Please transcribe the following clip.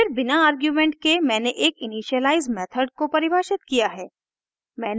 फिर बिना आर्गुमेंट के मैंने एक इनिशियलाइज़ मेथड को परिभाषित किया है